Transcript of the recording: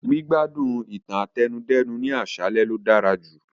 Gbígbádùn ìtàn àtẹnudẹ́nu ni aṣalẹ lo dára jù